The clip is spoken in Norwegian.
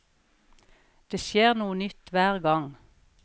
Det skjer noe nytt hver gang.